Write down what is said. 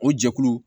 O jɛkulu